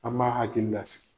An b'a hakili lasigi.